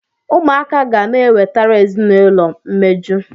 Ụmụaka ga na-ewetara ezinaụlọ mmeju.